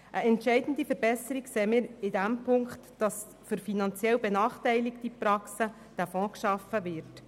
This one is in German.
Eine entscheidende Verbesserung sehen wir darin, dass für finanziell benachteiligte Praxen dieser Fonds geschaffen wird.